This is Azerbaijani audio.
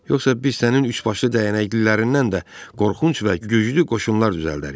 Yoxsa biz sənin üçbaşlı dəyənəklilərindən də qorxunc və güclü qoşunlar düzəldərik.